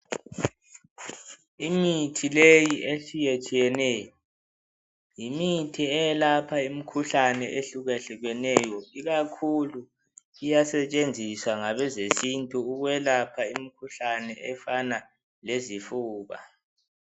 Imithi leyi etshiyetshiyeneyo yimithi eyelapha imkhuhlane ehlukehlukeneyo ikakhulu iyasetshenziswa ngabezesintu ukwelapha imkhuhlane efana lezifuba